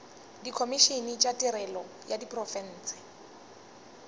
dikhomišene tša tirelo ya diprofense